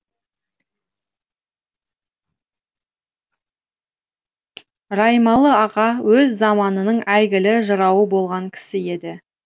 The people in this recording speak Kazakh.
раймалы аға өз заманының әйгілі жырауы болған кісі еді